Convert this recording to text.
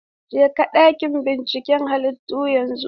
Jeka ɗakin binciken halittu yanzu!